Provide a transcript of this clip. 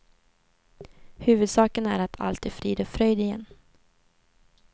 Huvudsaken är att allt är frid och fröjd igen.